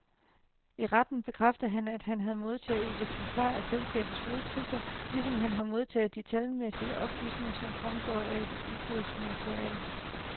I retten bekræfter han at have modtaget et eksemplar af selskabets vedtægter, ligesom han har modtaget de talmæssige oplysninger, som fremgår af udbudsmaterialet.